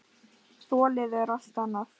Þolið er allt annað.